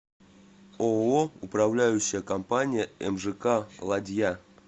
ооо управляющая компания мжк ладья